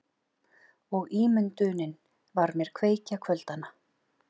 Og ímyndunin var mér kveikja kvöldanna.